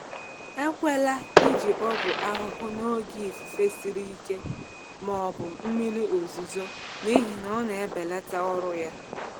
Ekwela iji ọgwụ ahụhụ n’oge ifufe siri ike ma ọ bụ mmiri ozuzo, n’ihi na ọ na-ebelata ọrụ ya.